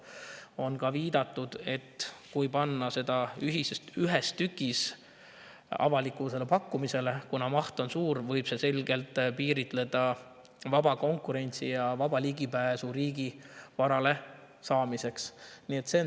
On ka viidatud, et kui panna see ühes tükis avalikule pakkumisele, siis võib see selgelt vaba konkurentsi ja vaba ligipääsu riigivarale, kuna maht on suur.